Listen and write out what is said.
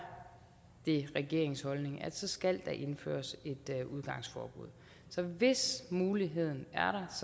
det regeringens holdning at så skal der indføres et udgangsforbud så hvis muligheden